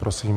Prosím.